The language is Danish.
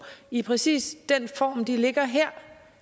i præcis den form de ligger her